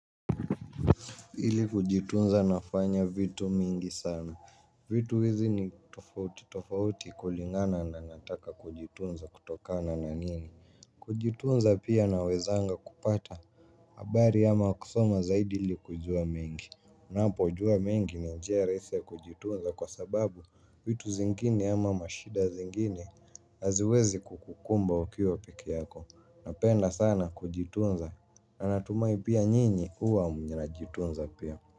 Ili kujitunza nafanya vitu mingi sana. Vitu hizi ni tofauti tofauti kulingana na nataka kujitunza kutokana na nini. Kujitunza pia nawezanga kupata habari ama kusoma zaidi ili kujua mengi unapo jua mengi ni njia rahisi ya kujitunza kwa sababu vitu zingine ama mashida zingine haziwezi kukukumba ukiwa peke yako. Napenda sana kujitunza. Na natumai pia nyinyi huwa mnajitunza pia.